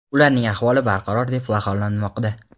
ularning ahvoli barqaror deb baholanmoqda.